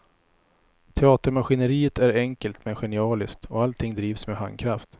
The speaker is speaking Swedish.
Teatermaskineriet är enkelt men genialiskt, och allting drivs med handkraft.